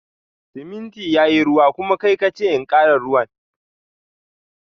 Siminti yayi ruwa, kuma kai kace in kara ruwan.